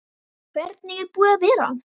Hvernig er búið að vera?